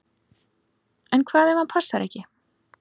En hvað ef hann passar ekki?